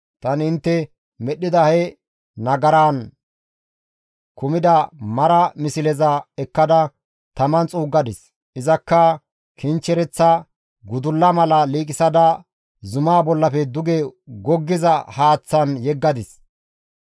Tani intte medhdhida he nagaran kumida mara misleza ekkada taman xuuggadis; izakka kinchchereththa gudulla mala liiqisada zumaa bollafe duge goggiza haaththan yeggadis.